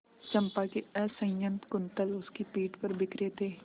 चंपा के असंयत कुंतल उसकी पीठ पर बिखरे थे